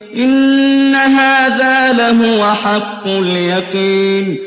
إِنَّ هَٰذَا لَهُوَ حَقُّ الْيَقِينِ